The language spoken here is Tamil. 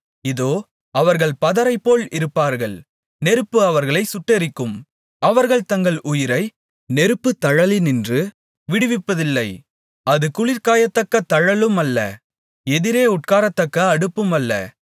இதோ அவர்கள் பதரைப்போல் இருப்பார்கள் நெருப்பு அவர்களைச் சுட்டெரிக்கும் அவர்கள் தங்கள் உயிரை நெருப்புத்தழலினின்று விடுவிப்பதில்லை அது குளிர்காயத்தக்க தழலுமல்ல எதிரே உட்காரத்தக்க அடுப்புமல்ல